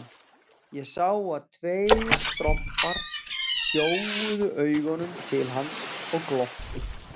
Ég sá að tveir strompar gjóuðu augunum til hans og glottu.